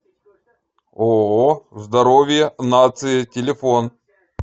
ооо здоровье нации телефон